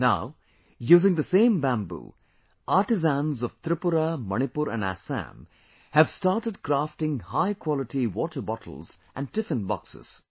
Now, using the same Bamboo, artisans of Tripura, Manipur and Assam have started crafting high quality water bottles and Tiffinboxes